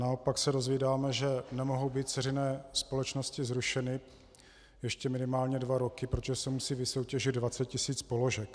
Naopak se dozvídáme, že nemohou být dceřiné společnosti zrušeny ještě minimálně dva roky, protože se musí vysoutěžit 20 tisíc položek.